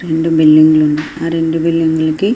రెండు బిల్డింగు లు ఉన్నాయ్. ఆహ్ రెండు బిల్డింగ్ లకి--